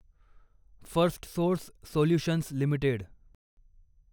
Firstsource solutions limited